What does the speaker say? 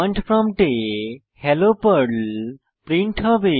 command প্রম্পটে hello Perl print হবে